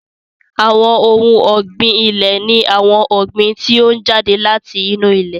Àwọn ohun ọ̀gbìn ilẹ̀ ni àwọn ọ̀gbìn tí ó jáde láti inú ilẹ̀